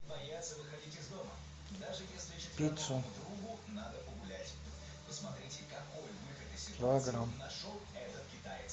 пиццу килограмм